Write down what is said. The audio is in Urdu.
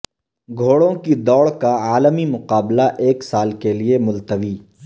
گھوڑوں کی دوڑ کا عالمی مقابلہ ایک سال کیلئے ملتوی